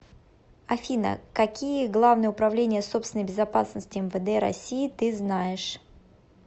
афина какие главное управление собственной безопасности мвд россии ты знаешь